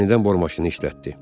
Yenidən bor maşını işlətdi.